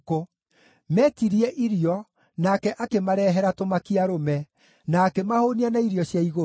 Metirie irio, nake akĩmarehere tũmakia-arũme, na akĩmahũũnia na irio cia igũrũ.